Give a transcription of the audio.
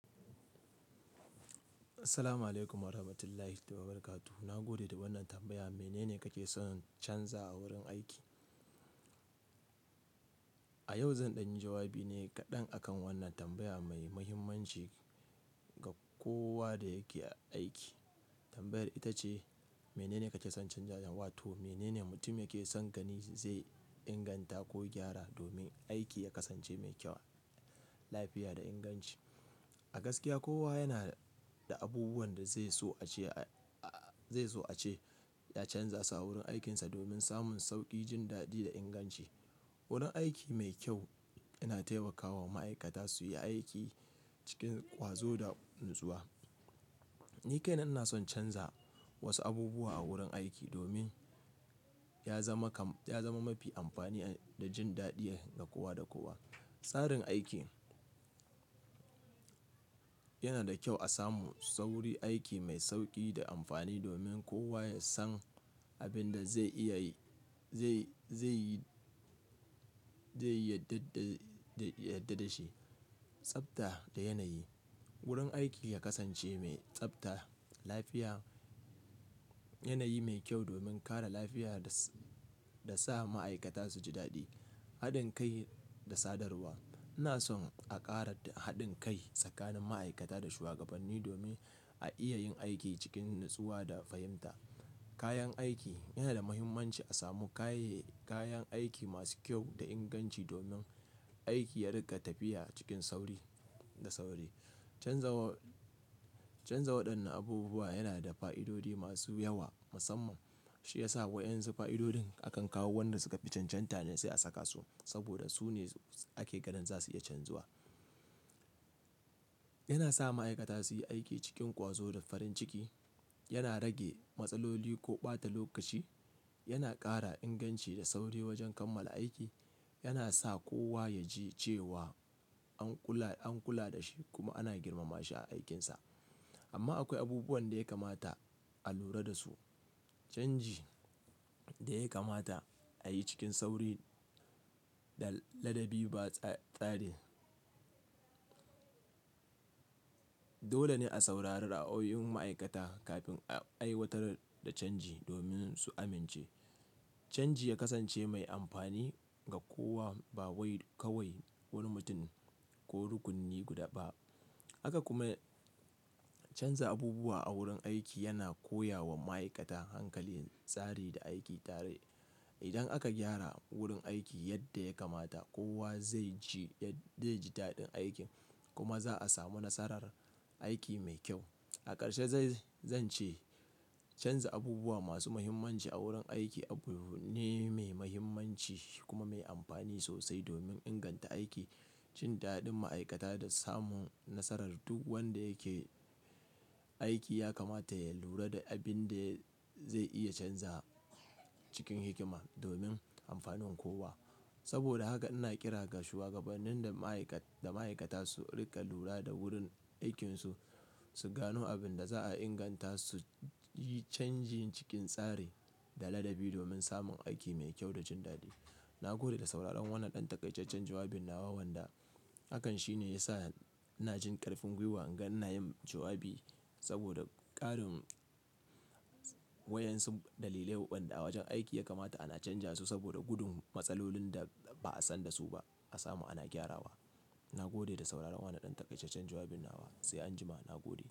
Assalamu alaikum wa rahmatullahi ta wa barakatu. Na gode da wannan tambaya. Mene ne kake son canza a wurin aiki? A yau zan ɗanyi jawabi ne kaɗan akan wannan tambaya mai mahimmanci ga kowa da yake aiki. Tambayar ita ce, mene ne kake son canza? Wato mene ne mutum yake son gani zai inganta ko gyara domin aiki ya kasance mai kyau, lafiya da inganci. A gaskiya kowa yana da abubuwan da zai so a ce, zai so a ce ya canza su a wurin aikinsa domin samun sauƙi, jin daɗi da inganci. Wurin aiki mai kyau yana taimakawa ma'aikata su yi aiki cikin ƙwazo da natsuwa. Ni kai na ina son canza wasu abubuwan a wurin aiki, domin ya zama kam, ya zama mafi amfani da jin daɗi ga kowa da kowa, Tsarin aikin, yana da kyau a samu sauri, aiki mai sauƙi da amfani domin kowa ya san abin da zai iya yi, zai, zai yi, zai yadda da, yadda da shi. Tsabta da yanayi. Wurin aiki ya kasance mai tsabta, lafiya, yanayi mai kyau domin kare lafiya da sa ma'aikata su ji daɗi. Haɗin kai da sadarwa. Ina son a ƙara haɗin kai tsakanin ma'aikata da shugabanni domin a iya yin aiki cikin natsuwa da fahimta. Kayan aiki. Yana da mahimmanci a samu kayi, kayan aiki masu kyau da inganci domin aiki ya riƙa tafiya cikin sauri da sauri. Canza wa, canza waɗannan abubuwa yana da fa'idodi masu yawa, Musamman, shi ya sa waƴan su fa'idodin, akan kawo wanda suka fi cancanta ne, sai a saka su, saboda su ne ake ganin za su iya canzuwa. Yana sa ma'aikata su yi aiki cikin ƙwazo da farin ciki. Yana rage matsaloli ko ɓata lokaci. Yana ƙara inganci da sauri wajen kammala aiki. Yana sa kowa ya ji cewa an kula, an kula da shi kuma ana girmama shi a aikinsa. Amma akwai abubuwan da ya kamata a lura da su. Canji da ya kamata a yi cikin sauri da ladabi ba tsare Dole ne a saurari ra'ayoyin ma'aikata, kafin a aiwatar da canji domin su amince. Canji ya kasance mai amfani ga kowa, ba wai kawai wani mutum ko rukuni guda ba. Haka kuma canza abubuwa a wurin aiki, yana koya wa ma'aikata hankalin, tsari da aiki tare. Idan aka gyara wurin aiki yadda ya kamata, kowa zai ji, zai ji daɗin aikin, kuma za'a samu nasarar aiki mai kyau. A ƙarshe zai, zan ce canza abubuwa masu mahimmanci a wurin aiki abu ne mai mahimmanci, kuma mai amfani sosai domin inganta aiki, jin daɗin ma'aikata da samun nasarar duk wanda yake aiki, Ya kamata ya lura da abin da zai iya canza, cikin hikima domin amfanin kowa. Saboda haka ina ƙira ga shuwagabannin da ma'aikat, da ma'aikata su riƙa lura da wurin aikinsu, su gano abin da za'a inganta, su yi canji cikin tsari, da ladabi domin samun aiki mai kyau da jin daɗi. Na gode da sauraron wannan ɗan takaicaccen jawabin nawa wanda hakan shi ne ya sa ina jin ƙarfin gwiwa ingan ina yin jawabi. Saboda, ƙarin waƴan su dalilai wanda a wajen aiki ya kamata ana canza su saboda gudun matsalolin da ba'a san da su ba, a samu ana gyarawa. Na gode da sauraron wannan ɗan takaicaccen jawabin nawa. Sai anjima na gode.